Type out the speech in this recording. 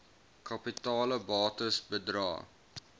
kapitale bates bedrae